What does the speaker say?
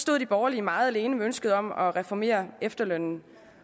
stod de borgerlige meget alene med ønsket om at reformere efterlønnen